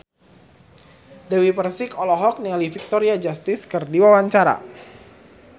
Dewi Persik olohok ningali Victoria Justice keur diwawancara